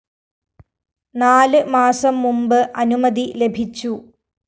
നാല് മാസം മുമ്പ് അനുമതി ലഭിച്ചു